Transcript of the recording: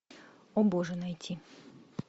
о боже найти